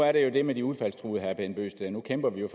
er der jo det med de udfaldstruede herre bent bøgsted nu kæmper vi jo